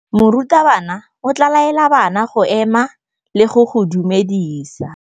Morutabana o tla laela bana go ema le go go dumedisa.